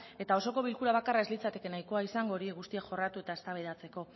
eta osoko bilkura bakarra ez litzateke nahikoa izango hori guztia jorratu eta eztabaidatzeko